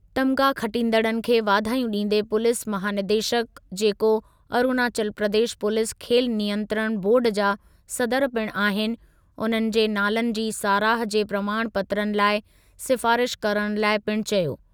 तमिग़ा खटींदड़नि खे वाधायूं ॾींदे पुलीस महानिदेशकु जेको अरुणाचल प्रदेश पुलीस खेल नियंत्रण बोर्ड जा सदर पिणु आहिनि, उन्हनि जे नालनि जी साराह जे प्रमाण पत्रनि लाइ सिफ़ारिश करणु लाइ पिणु चयो।